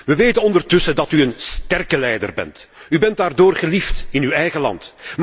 We weten ondertussen dat u een 'sterke' leider bent. U bent daardoor geliefd in uw eigen land.